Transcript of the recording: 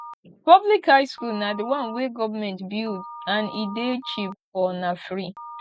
public high school na di one wey government build and e de cheap or na free